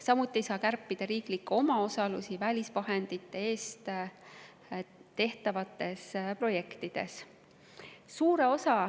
Samuti ei saa kärpida riiklikke omaosalusi välisvahendite eest tehtavates projektides.